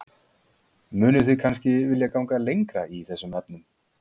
Mynduð þið kannski vilja ganga lengra í þessum efnum?